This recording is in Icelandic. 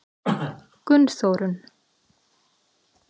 Gunnþórunn